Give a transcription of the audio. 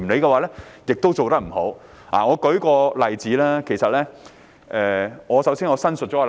我會列舉一個例子，但我想先行申明立場。